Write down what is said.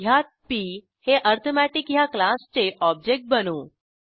ह्यात पी हे अरिथमेटिक ह्या क्लासचे ऑब्जेक्ट बनवू